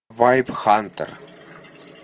вайп хантер